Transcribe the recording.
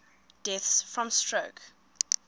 deaths from stroke